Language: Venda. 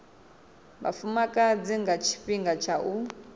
vhafumakadzi nga tshifhinga tsha u